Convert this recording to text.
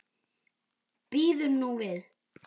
Bíðum nú við.